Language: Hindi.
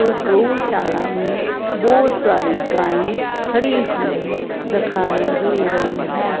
और गौशाला में बहोत सारी गाएं खड़ी हुई दखाई दे रही हैं।